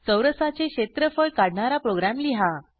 चौरसाचे क्षेत्रफळ काढणारा प्रोग्रॅम लिहा